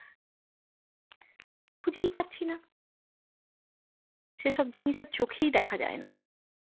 খুঁজেই পাচ্ছি না সেসব জিনিস আর চোখেই দেখা যায় না।